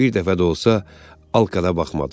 Bir dəfə də olsa Alkada baxmadı.